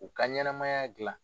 U ka ɲɛnɛmaya dilan.